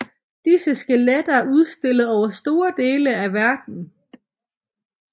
Disse skeletter er udstillet over store dele af verden